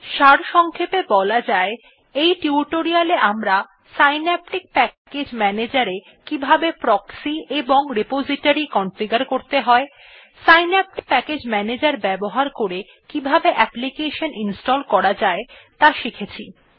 সারসংক্ষেপে বলা যায় এই টিউটোরিয়াল এ আমরা সিন্যাপটিক প্যাকেজ Manager এ কিবাহবে প্রক্সি এবং রিপোজিটরি কনফিগার করতে হয় সিন্যাপটিক প্যাকেজ ম্যানেজের ব্যবহার করে কিভাবে অ্যাপ্লিকেশন ইনস্টল করা যায় ত়া শিখেছি